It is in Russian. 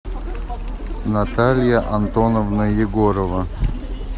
наталья антоновна егорова